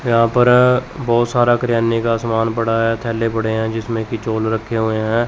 यहां पर बहोत सारा किराने का सामान पड़ा है थैला पड़े हैं जिसमें की रखे हुए हैं।